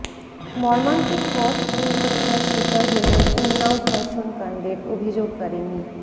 মর্মান্তিক পথ দুর্ঘটনার শিকার হলেন উন্নাও ধর্ষণ কাণ্ডের অভিযোগকারিনী